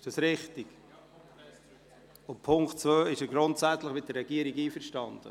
Beim Punkt 2 ist er grundsätzlich mit der Regierung einverstanden.